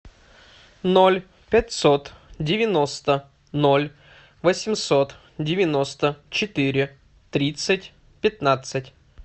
ноль пятьсот девяносто ноль восемьсот девяносто четыре тридцать пятнадцать